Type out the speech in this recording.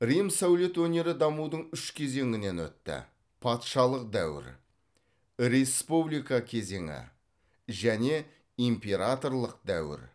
рим сәулет өнері дамудың үш кезеңінен өтті патшалық дәуір республика кезеңі және императорлық дәуір